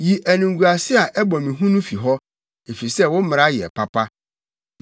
Yi animguase a ɛbɔ me hu no fi hɔ, efisɛ wo mmara yɛ papa.